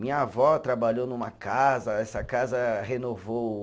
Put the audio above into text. Minha avó trabalhou numa casa, essa casa renovou